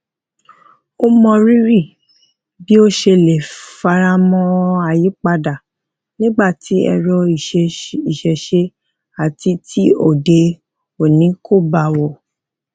ó mọ rírì bi o se le faramo ayípadà nigba ti ero isese ati ti òde òní kò bá wọ